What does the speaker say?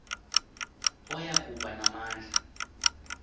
oya kuba namandla